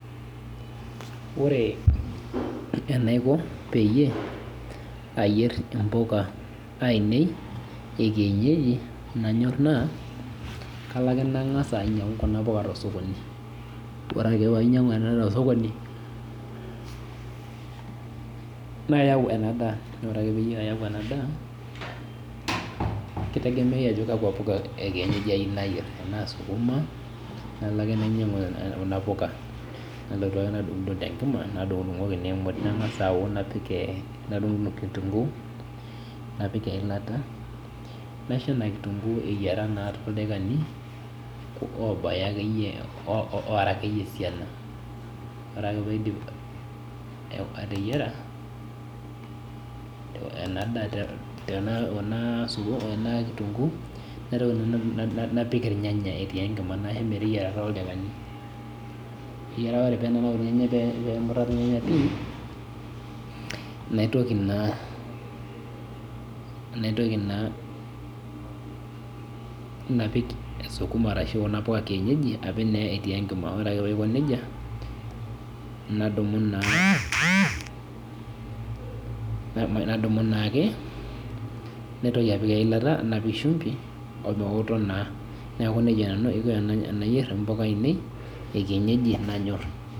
Ore enaiko peyie ayier mpuka ainei ekienyeji na kalo ake nalo aingoru kuna puka tosokoni ore ake painyangu tosokoni nayau enadaa kitegemea ajo kakwa puka ekienyeji ayieu nayier anaa sukuma nalo ake nainyangu sukuma nalotu ake nadungdung tenkima nangasa nadungdung kitunguu napik eilata naisho na kitunguu eyiara toldakani obaya akeyie ora akeyie esiana ore paidip ateyiara kuna kitunguu napik irnyanya etii enkima naisho meteyiarai ore penanau irnyanya pemuta pii naitoki naa naitoki naa napik sukuma ashu kuna puka ekienyeji napik etii enkima ore etiu nejia nadumu naake naitoki apik eilata napik shumbi omeoto taa neaku nejia aiko tanayier mpuka ainei ekinyeji nanyor.